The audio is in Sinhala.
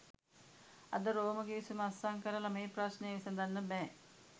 අද රෝම ගිවිසුම අත්සන් කරලා මේ ප්‍රශ්ණය විසඳන්න බෑ